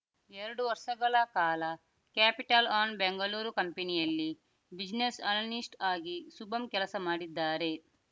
ಎರಡು ವರ್ಷಗಳ ಕಾಲ ಕ್ಯಾಪಿಟಲ್ ಒನ್ ಬೆಂಗಳೂರು ಕಂಪನಿಯಲ್ಲಿ ಬ್ಯುಸ್ನೆಸ್ ಅನಲಿಸ್ಟ್ ಆಗಿ ಶುಭಂ ಕೆಲಸ ಮಾಡಿದಾರೆ